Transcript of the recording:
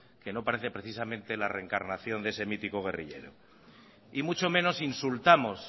que no parece precisamente la reencarnación de ese mítico guerrillero y mucho menos insultamos